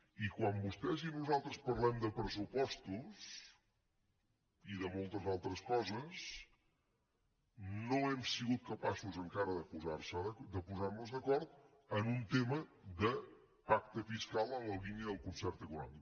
i quan vostès i nosaltres parlem de pressupostos i de moltes altres coses no hem sigut capaços encara de posarnos d’acord en un tema de pacte fiscal en la línia del concert econòmic